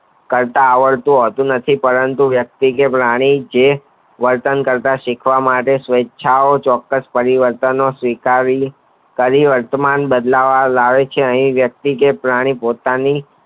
કરતા આવડતું હોતું નથી પરંતુ વ્યકતિ કે પ્રાણી જે વર્તન કરવા માટે શીખવા માટે પરિવારતો કયું વર્તમાન બદલવા માટે યાહૂ વ્યકતિ કે પ્રાણી પોતાની